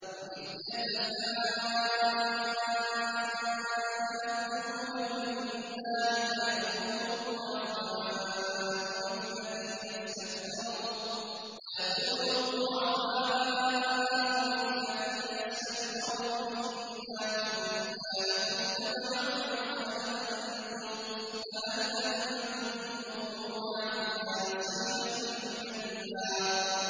وَإِذْ يَتَحَاجُّونَ فِي النَّارِ فَيَقُولُ الضُّعَفَاءُ لِلَّذِينَ اسْتَكْبَرُوا إِنَّا كُنَّا لَكُمْ تَبَعًا فَهَلْ أَنتُم مُّغْنُونَ عَنَّا نَصِيبًا مِّنَ النَّارِ